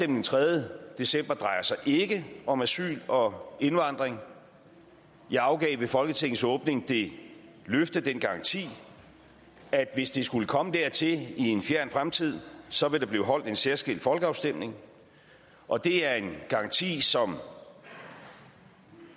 den tredje december ikke drejer om asyl og indvandring jeg afgav ved folketingets åbning det løfte den garanti at hvis det skulle komme dertil i en fjern fremtid så vil der blive holdt en særskilt folkeafstemning og det er en garanti som